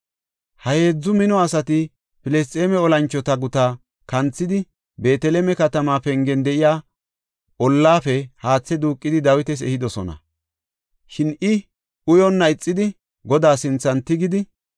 Ha heedzu mino asati Filisxeeme olanchota gutaa kanthidi, Beeteleme katama pengen de7iya ollafe haathe duuqidi Dawitas ehidosona. Shin I uyonna ixidi, Godaa sinthan tigidi,